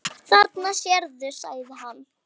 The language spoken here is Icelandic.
Þarna sérðu, sagði hann.